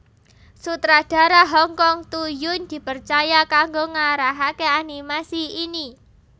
Sutradara Hong Kong Toe Yuen dipercaya kanggo ngarahaké animasi ini